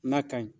N'a ka ɲi